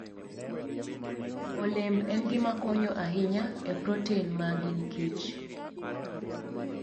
Olemb en gima konyo ahinya e protein ma gin kich.